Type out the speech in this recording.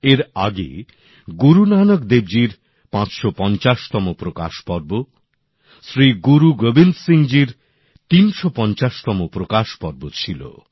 এর আগে গুরু নানক দেবজির ৫৫০তম প্রকাশ পর্ব শ্রী গুরু গোবিন্দ সিং জির ৩৫০তম প্রকাশ পর্ব ছিল